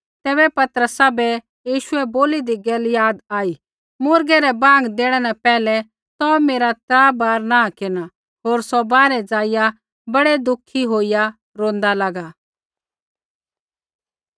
तैबै पतरसा बै यीशुऐ बोली दी गैल याद आई मुर्गै रै बाँग देणै न पहिलै तौ मेरा त्रा बार नाँह केरना होर सौ बाहरै ज़ाइआ बड़ै दुखी होईया रोंदा लागा